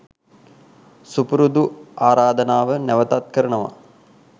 සුපුරුදු ආරාධනාව නැවතත් කරනවා